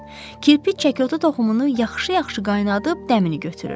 Kirpi çəkotu toxumunu yaxşı-yaxşı qaynadıb dəmini götürür.